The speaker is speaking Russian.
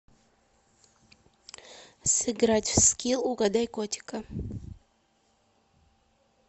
сыграть в скилл угадай котика